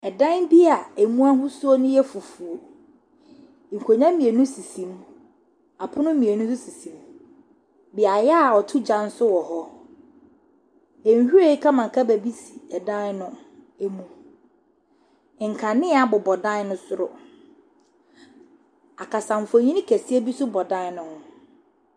Ɛdan bi a emu ahosuo no yɛ fufuo. Nkonnwa mmienu sisi mu. Apono mmienu nso sisi mu. Bea a wɔto gya nso wɔ hɔ. Nhwiren kamakama bi si dan no mu. Nkanea bobɔ adan no soro. Akasafoni kɛseɛ nso bɔ dan no ho.